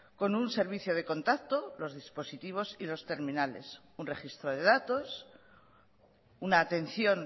con un servicio de contacto los dispositivos y los terminales un registro de datos una atención